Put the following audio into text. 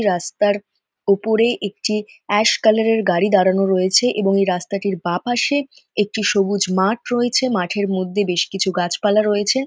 রাস্তার ওপরেই একটি এ্যস কালার গাড়ি দাঁড়ানো রয়েছে এবং এই রাস্তাটির বা পাশে একটি সবুজ মাঠ রয়েছে মাঠের মধ্যে বেশকিছু গাছেপালা রয়েছে।